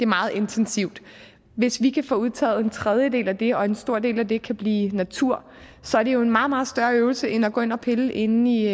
meget intensivt hvis vi kan få udtaget en tredjedel af det og en stor del af det kan blive natur så er det jo en meget meget større øvelse end at gå ind at pille inde i